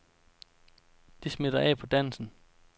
Det smitter af på dansen.